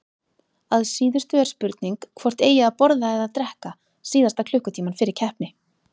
Að síðustu er spurning hvort eigi að borða eða drekka síðasta klukkutímann fyrir keppni.